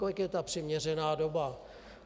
Kolik je ta přiměřená doba?